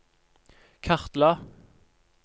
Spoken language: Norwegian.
kartla